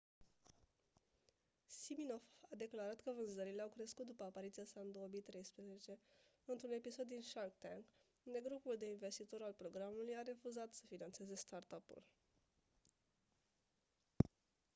siminoff a declarat că vânzările au crescut după apariția sa în 2013 într-un episod din shark tank unde grupul de investitori al programului a refuzat să finanțeze startup-ul